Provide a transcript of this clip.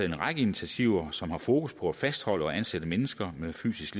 en række initiativer som har fokus på at fastholde og ansætte mennesker med psykisk